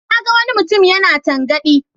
Na ga wani mutum yana tangaɗi.